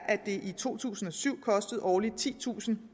at det i to tusind og syv kostede årligt titusinde og